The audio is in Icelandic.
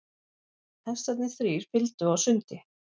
Hestarnir þrír fylgdu á sundi.